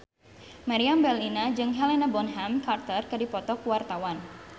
Meriam Bellina jeung Helena Bonham Carter keur dipoto ku wartawan